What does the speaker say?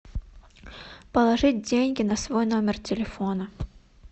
положить деньги на свой номер телефона